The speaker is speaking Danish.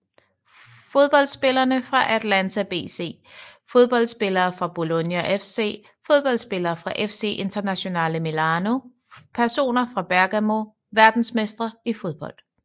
Fodboldspillere fra Atalanta BC Fodboldspillere fra Bologna FC Fodboldspillere fra FC Internazionale Milano Personer fra Bergamo Verdensmestre i fodbold